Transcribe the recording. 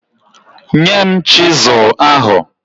Nye m chizụl ahụ.